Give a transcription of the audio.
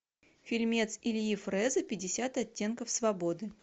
фильмец ильи фреза пятьдесят оттенков свободы